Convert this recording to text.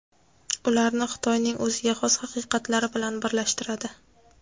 ularni Xitoyning o‘ziga xos haqiqatlari bilan birlashtiradi.